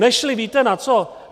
Nešly - víte na co?